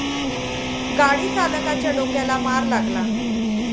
गाडी चालकाच्या डोक्याला मार लागला.